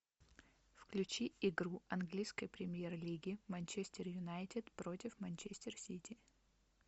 включи игру английской премьер лиги манчестер юнайтед против манчестер сити